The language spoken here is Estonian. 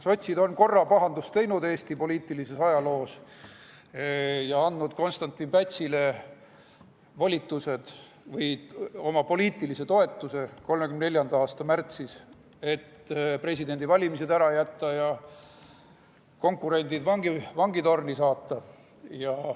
Sotsid on korra Eesti poliitilises ajaloos pahandust teinud ja andnud Konstantin Pätsile volitused või oma poliitilise toetuse 1934. aasta märtsis, et presidendivalimised ära jätta ja konkurendid vangitorni saata.